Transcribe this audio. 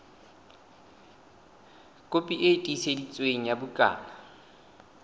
kopi e tiiseditsweng ya bukana